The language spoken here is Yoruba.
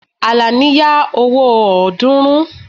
Àlàní ya owó ọ̀ọ́dúnrún